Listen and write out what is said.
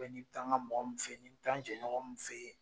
nin tan ka mɔgɔ min fɛ ye, nin n bɛ taa n jɛɲɔgɔn min fɛ yen.